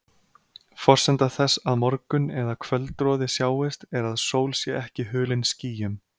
Forsenda þess að morgun- eða kvöldroði sjáist er að sól sé ekki hulin skýjum.